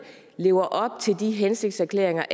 lever op til de hensigtserklæringer